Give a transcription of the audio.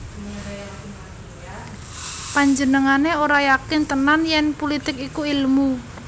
Panjenengané ora yakin tenan yèn pulitik iku ilmu